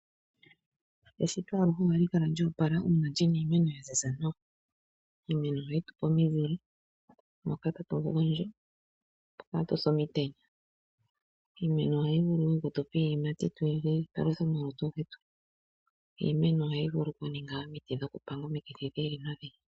Eshito aluhe ohali kala lyo opala uuna lina iimeno yaziza nawa . Iimeno ohayitupe omizile moka hatu gondjo opo katuse omutenya. Iimeno ohayi vulu woo oku tupa iiyimati. Iimeno ohayi vulu omuningwa omiti dhokupanga omikithi dhi ili nodhi ili.